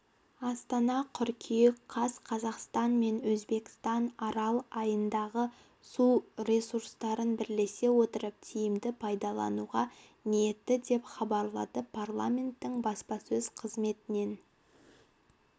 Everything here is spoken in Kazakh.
астана қыркүйек қаз қазақстан мен өзбекстан арал айдынындағы су ресурстарын бірлесе отырып тиімді пайдалануға ниетті деп хабарлады парламентінің баспасөз қызметінен